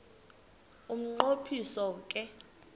umnqo phiso ke